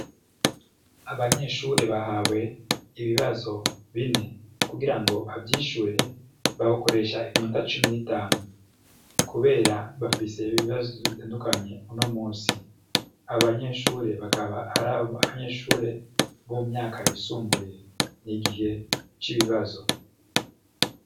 Abanyeshure bahawe ibibazo bine. Kugira ngo bavyishure, bokoresha iminota cumi n'itanu, kubera bafise ibibazo bitandukanye uno munsi. Abo banyeshuri bakaba ari abanyeshure bo munyaka yisumbuye. N'igihe c'ibibazo!